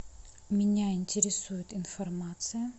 меня интересует информация